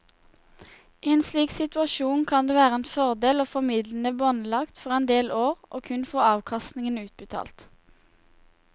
I en slik situasjon kan det være en fordel å få midlene båndlagt for en del år og kun få avkastningen utbetalt.